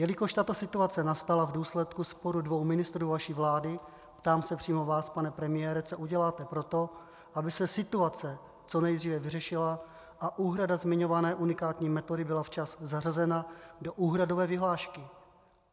Jelikož tato situace nastala v důsledku sporu dvou ministrů vaší vlády, ptám se přímo vás, pane premiére, co uděláte proto, aby se situace co nejdříve vyřešila a úhrada zmiňované unikátní metody byla včas zařazena do úhradové vyhlášky.